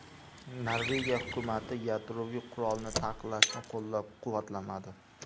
Norvegiya hukumati yadroviy qurolni taqiqlashni qo‘llab-quvvatlamadi.